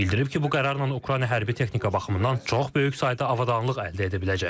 Bildirib ki, bu qərarla Ukrayna hərbi texnika baxımından çox böyük sayda avadanlıq əldə edə biləcək.